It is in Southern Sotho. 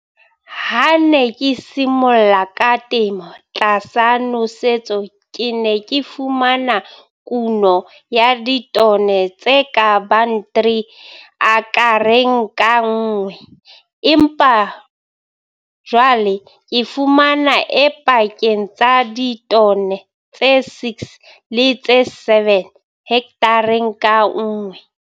Ha ke ne ke simolla ka temo tlasa nosetso ke ne ke fumana kuno ya ditone tse ka bang 3 akereng ka nngwe, empa jwale ke fumana e pakeng tsa ditone tse 6 le tse 7 hekthareng ka nngwe.